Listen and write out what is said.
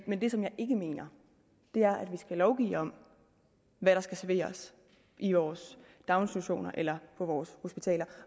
men det som jeg ikke mener er at vi skal lovgive om hvad der skal serveres i vores daginstitutioner eller på vores hospitaler